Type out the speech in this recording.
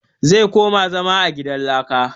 Zai koma zama a gidan laka